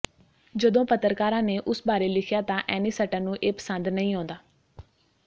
ਜਦੋਂ ਪੱਤਰਕਾਰਾਂ ਨੇ ਉਸ ਬਾਰੇ ਲਿਖਿਆ ਤਾਂ ਐਨੀਸਟਨ ਨੂੰ ਇਹ ਪਸੰਦ ਨਹੀਂ ਆਉਂਦਾ